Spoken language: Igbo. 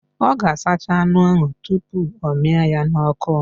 Ọ ga-asacha anụ ahụ tupu ọ mịa ya n'ọkụ